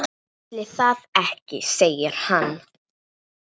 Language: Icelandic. Ætli það ekki segir hann.